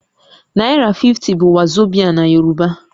Naira 50 bụ wazobia na Yorùbá